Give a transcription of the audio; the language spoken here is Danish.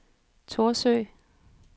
Thorsø